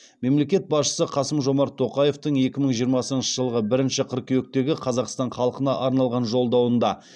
мемлекет басшысы қасым жомарт тоқаевтың екі мың жиырмасыншы жылғы бірінші қыркүйектегі қазақстан халқына арналған жолдауында